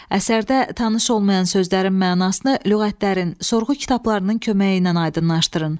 Əsərdə tanış olmayan sözlərin mənasını lüğətlərin, sorğu kitablarının köməyi ilə aydınlaşdırın.